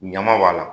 Ɲama b'a la